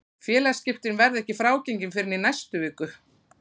Félagaskiptin verða ekki frágengin fyrr en í næstu viku.